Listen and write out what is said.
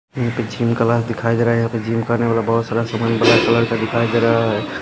क्योंकि gym class दिखाई दे रहे हैं। यहां पे जिम करने वाला बहोत सारा सामान ब्लैक कलर का दिखाई दे रहा है।